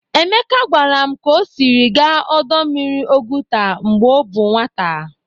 Emeka gwara m ka o siri gaa ọdọ mmiri Oguta mgbe ọ bụ nwata.